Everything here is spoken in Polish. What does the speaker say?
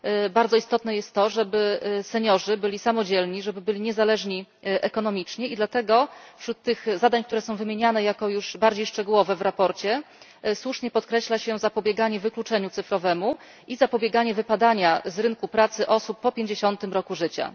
Bardzo istotne jest to, żeby seniorzy byli samodzielni, żeby byli niezależni ekonomicznie, i dlatego wśród tych zadań, które są wymieniane jako już bardziej szczegółowe w sprawozdaniu, słusznie podkreśla się zapobieganie wykluczeniu cyfrowemu i zapobieganie wypadania z rynku pracy osób po pięćdziesiątym roku życia.